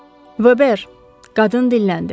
Vöber, qadın dilləndi.